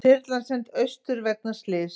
Þyrlan send austur vegna slyss